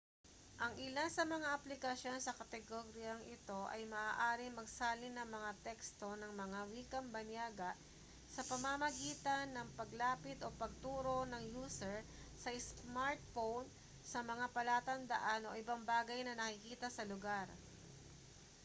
ang ilan sa mga application sa kategoryang ito ay maaaring magsalin ng mga teksto ng mga wikang banyaga sa pamamagitan ng paglapit o pagturo ng user sa smartphone sa mga palatandaan o ibang bagay na nakikita sa lugar